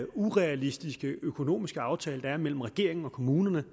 urealistiske økonomiske aftale der er mellem regeringen og kommunerne